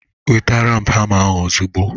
Weta hama ahụ ozugbo!